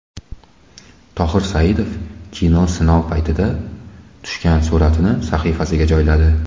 Tohir Saidov kino sinov paytida tushgan suratini sahifasiga joyladi.